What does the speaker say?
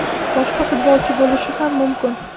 boshqa futbolchi bo‘lishi ham mumkin.